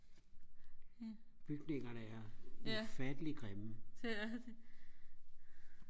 bygningerne er ufatteligt grimme